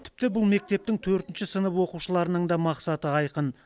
тіпті бұл мектептің төртінші сынып оқушыларының да мақсаты айқын